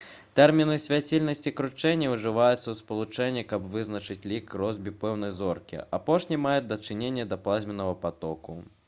тэрміны «свяцільнасць» і «кручэнне» ужываюцца ў спалучэнні каб вызначыць лік росбі пэўнай зоркі. апошні мае дачыненне да плазменнага патоку